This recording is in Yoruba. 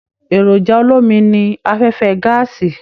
Èròjà olomi ní afẹfẹ gàásí.